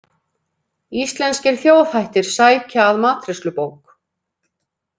Íslenskir þjóðhættir sækja að matreiðslubók